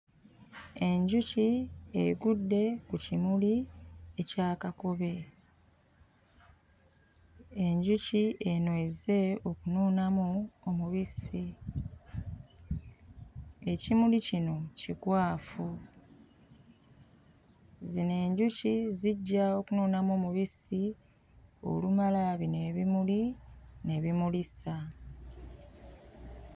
Enjuki egudde ku kimuli ekya kakobe. Enjuki eno ezze okunuunamu omubisi ekimuli kino kikwafu. Zino enjuki zijja okunuunamu omubisi olumala bino ebimuli ne bimulisa.